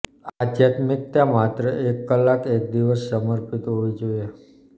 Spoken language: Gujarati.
આધ્યાત્મિકતા માત્ર એક કલાક એક દિવસ સમર્પિત હોવી જોઈએ